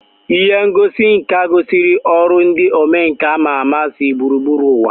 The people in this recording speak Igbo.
Ihe ngosi nka gosiri ọrụ ndị omenkà ama ama si gburugburu ụwa